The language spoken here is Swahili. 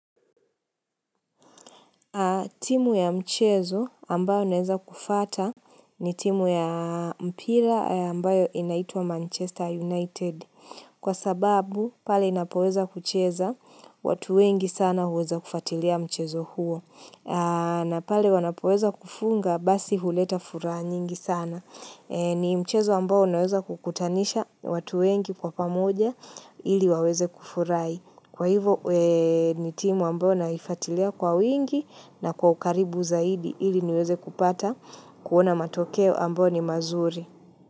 Timu ya mchezo ambayo naweza kufuata ni timu ya mpira ambayo inaitwa Manchester United. Kwa sababu, pale inapoweza kucheza, watu wengi sana huweza kufuatilia mchezo huo. Na pale wanapoweza kufunga, basi huleta furaha nyingi sana. Ni mchezo ambayo naweza kukutanisha watu wengi kwa pamoja ili waweze kufurahi. Kwa hivo ni timu ambayo naifuatilia kwa wingi na kwa ukaribu zaidi ili niweze kupata kuona matokeo ambayo ni mazuri.